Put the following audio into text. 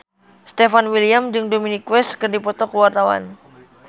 Stefan William jeung Dominic West keur dipoto ku wartawan